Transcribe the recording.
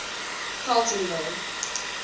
carletonville